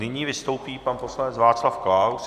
Nyní vystoupí pan poslanec Václav Klaus.